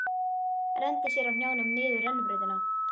Renndi sér á hnjánum niður rennibrautina.